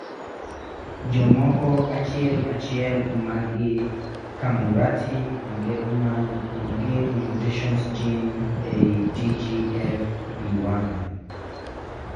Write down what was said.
Jomoko achiel achiel mangi Camurati Engelmann onge mutations gene ei TGFB1